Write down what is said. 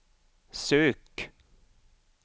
sök